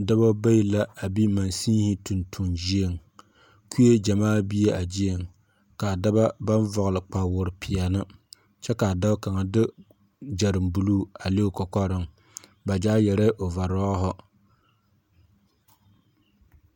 Dɔba bayi la a bi masiŋihi tontoŋ gyieŋ. Kue gyamaa bie a gyieŋ. ka a dɔba baŋ vɔgele kpawoore peɛne kyɛ ka a dao kaŋa de gyɛreŋ buluu a le o kɔkɔreŋ ba gyaa yɛrɛɛ ovarɔɔhe.